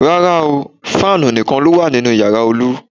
Rárá, fáànù nìkan ló wà ní yàrá Olu